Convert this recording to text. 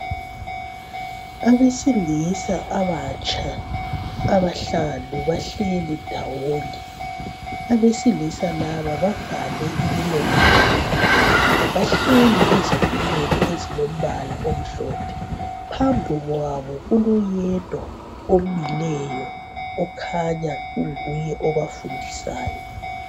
Abesilisa abatsha abahlanu bahleli ndawonye Abesilisa laba bavale imilomo yabo Bahleli ezitulweni ezilombala omhlophe. Phambi kwabo kuloyedwa omileyo okhanya unguye obatundisayo